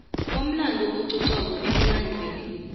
komlando ococwako emlandweni